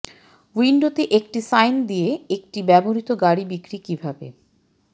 উইন্ডোতে একটি সাইন দিয়ে একটি ব্যবহৃত গাড়ী বিক্রি কিভাবে